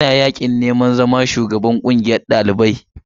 Yana yaƙin neman zama sabon shugaban ƙungiyar ɗaliban jihar Katsina a jami’a ta.